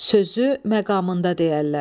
Sözü məqamında deyərlər.